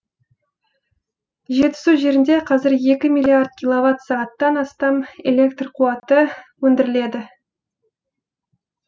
жетісу жерінде қазір екі миллиард киловатт сағаттан астам электр қуаты өндіріледі